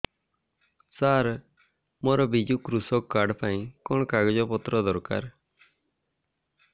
ସାର ମୋର ବିଜୁ କୃଷକ କାର୍ଡ ପାଇଁ କଣ କାଗଜ ପତ୍ର ଦରକାର